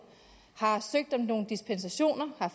har søgt om nogle dispensationer har